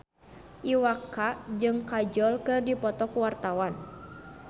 Iwa K jeung Kajol keur dipoto ku wartawan